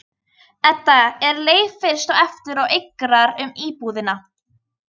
Veiðið froðuna ofan af þegar soðið hefur í pottinum smástund.